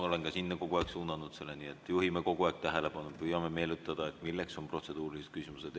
Olengi kogu aeg suunanud selle sinna, nii et juhime kogu aeg tähelepanu, püüame meenutada, milleks on protseduurilised küsimused.